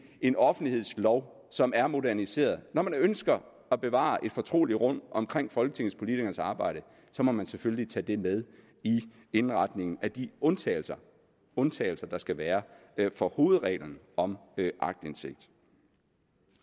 en offentlighedslov som er moderniseret når man ønsker at bevare et fortroligt rum omkring folketingspolitikernes arbejde så må man selvfølgelig tage det med i indretningen af de undtagelser undtagelser der skal være fra hovedreglen om aktindsigt